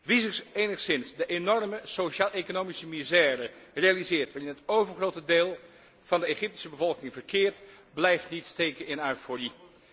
Wie zich enigszins de enorme sociaaleconomische misère realiseert waarin het overgrote deel van de Egyptische bevolking verkeert, blijft niet steken in euforie.